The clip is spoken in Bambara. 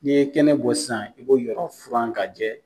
Ni ye kɛnɛ bɔ sisan, i be yɔrɔ furan ka jɛ.